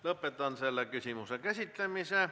Lõpetan selle küsimuse käsitlemise.